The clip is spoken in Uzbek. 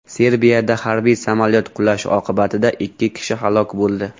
Serbiyada harbiy samolyot qulashi oqibatida ikki kishi halok bo‘ldi.